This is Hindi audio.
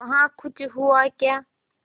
वहाँ कुछ हुआ क्या